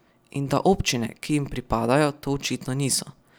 In da občine, ki jim pripadajo, to očitno niso.